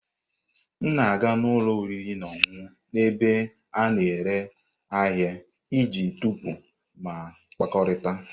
M na-aga n'ụlọ oriri na ọṅụṅụ n'ebe a na-ere ahịa iji tọpụ ma kpakọrịta.